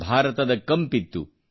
ಭಾರತದ ಕಂಪಿತ್ತು